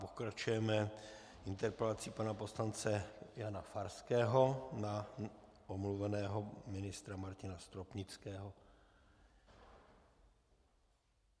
Pokračujeme interpelací pana poslance Jana Farského na omluveného ministra Martina Stropnického.